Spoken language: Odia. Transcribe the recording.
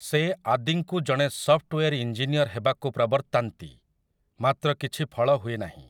ସେ ଆଦିଙ୍କୁ ଜଣେ ସଫ୍ଟୱେର୍ ଇଞ୍ଜିନିୟର ହେବାକୁ ପ୍ରବର୍ତ୍ତାନ୍ତି, ମାତ୍ର କିଛି ଫଳ ହୁଏନାହିଁ ।